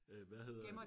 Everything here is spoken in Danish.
Øh hvad hedder det